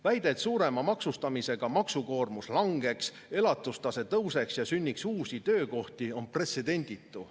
Väide, et suurema maksustamisega maksukoormus langeb, elatustase tõuseb ja sünnivad uued töökohad, on pretsedenditu.